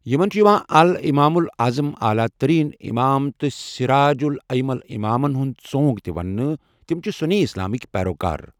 یِمن چھِ یوان الامامُ الاَعظم اعلی ترین امام تہٕ سِراجُ الاَئمہ امامن ہِیوٚنٛد ژونگ تہِ ونٔنٕہ، تِمہٕ چھِ سُنی اسلامٕکی پیروکار